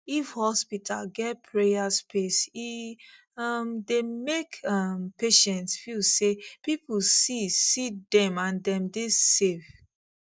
if hospital get prayer space e um dey make um patients feel say people see see dem and dem dey safe